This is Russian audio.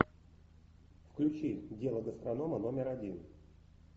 включи дело гастронома номер один